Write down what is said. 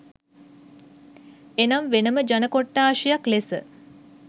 එනම් වෙනම ජන කොට්ඨාසයක් ලෙස